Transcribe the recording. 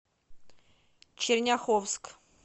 черняховск